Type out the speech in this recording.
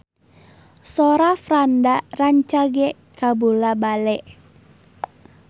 Sora Franda rancage kabula-bale